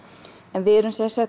en við